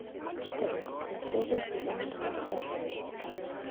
четырнадцатая серия сезон два вторжение титанов